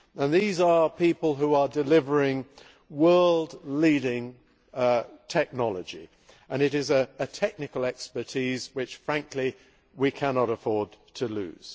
These are people who are delivering world leading technology, and this is a technical expertise which frankly we cannot afford to lose.